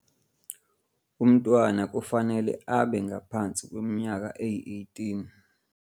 Umntwana kufanele abe ngaphansi kweminyaka eyi-18.